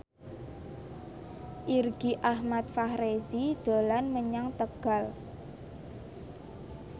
Irgi Ahmad Fahrezi dolan menyang Tegal